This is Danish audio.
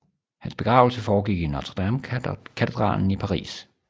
Hans begravelse foregik i Notre Dame katedralen i Paris